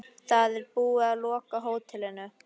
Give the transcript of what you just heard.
Það er búið að loka hótelinu.